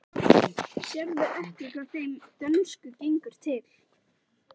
Sérðu ekki hvað þeim dönsku gengur til?